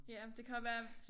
Ja det kan også være